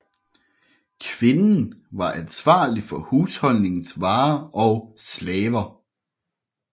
Kvinden var ansvarlig for husholdningens varer og slaver